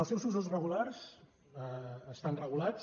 els seus usos regulars estan regulats